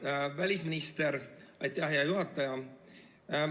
Hea välisminister!